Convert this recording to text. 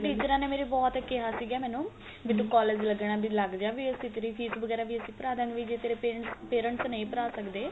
ਟਿਚਰਾ ਨੇ ਮੇਰੀ ਬਹੁਤ ਕਿਹਾ ਸੀਗਾ ਮੈਨੂੰ ਤੂੰ college ਲੱਗਣਾ ਤੇ ਲੱਗ ਜਾ ਵੀ ਅਸੀਂ ਤੇਰੀ ਫ਼ੀਸ ਵਗਿਆਰਾ ਵੀ ਅਸੀਂ ਭਰਾ ਦਾ ਗੇ ਜੇ ਤੇਰੇ parents parents ਨਹੀਂ ਭਰਾ ਸਕਦੇ